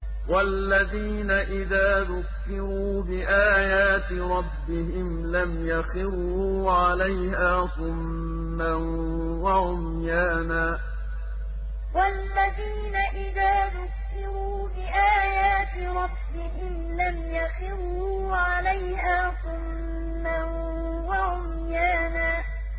وَالَّذِينَ إِذَا ذُكِّرُوا بِآيَاتِ رَبِّهِمْ لَمْ يَخِرُّوا عَلَيْهَا صُمًّا وَعُمْيَانًا وَالَّذِينَ إِذَا ذُكِّرُوا بِآيَاتِ رَبِّهِمْ لَمْ يَخِرُّوا عَلَيْهَا صُمًّا وَعُمْيَانًا